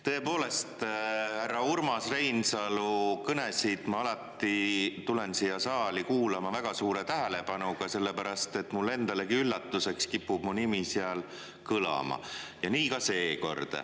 Tõepoolest, härra Urmas Reinsalu kõnesid ma alati tulen siia saali kuulama väga suure tähelepanuga, sellepärast et mulle endalegi üllatuseks kipub mu nimi seal kõlama ja nii ka seekord.